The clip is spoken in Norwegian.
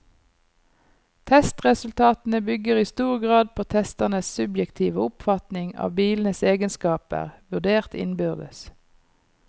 Testresultatene bygger i stor grad på testernes subjektive oppfatning av bilenes egenskaper, vurdert innbyrdes.